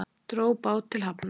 Dró bát til hafnar